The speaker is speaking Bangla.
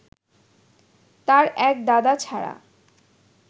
তাঁর এক দাদা ছাড়া